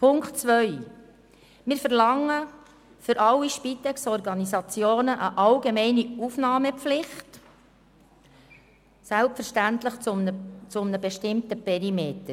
Zu Punkt 2: Wir verlangen für alle Spitex-Organisationen eine allgemeine Aufnahmepflicht, selbstverständlich innerhalb eines bestimmten Perimeters.